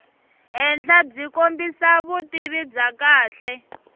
henhlabyi kombisa vutivi bya kahle